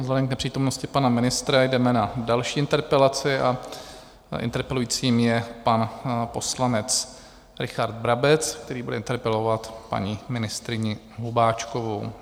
Vzhledem k nepřítomnosti pana ministra jdeme na další interpelaci a interpelujícím je pan poslanec Richard Brabec, který bude interpelovat paní ministryni Hubáčkovou.